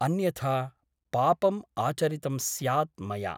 अन्यथा पापम् आचरितं स्यात् मया ।